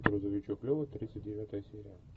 грузовичок лева тридцать девятая серия